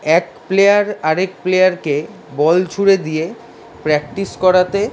এক প্লেয়ার আরেক প্লেয়ার -কে বল ছুড়ে দিয়ে প্র্যাকটিস করাতে --